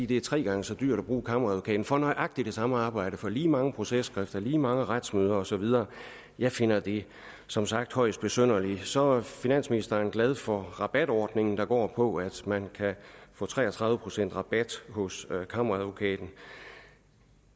det er tre gange så dyrt at bruge kammeradvokaten for nøjagtig det samme arbejde for lige mange processkrifter for lige mange retsmøder og så videre jeg finder det som sagt højst besynderligt så er finansministeren glad for rabatordningen der går på at man kan få tre og tredive procent i rabat hos kammeradvokaten